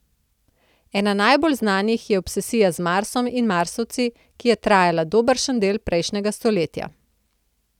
Ena najbolj znanih je obsesija z Marsom in Marsovci, ki je trajala dobršen del prejšnjega stoletja.